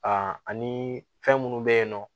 ani fɛn munnu be yen nɔ